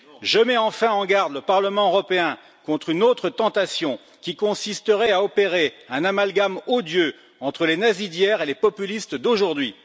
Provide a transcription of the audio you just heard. Je mets enfin en garde le Parlement européen contre une autre tentation qui consisterait à opérer un amalgame odieux entre les nazis d'hier et les populistes d'aujourd'hui.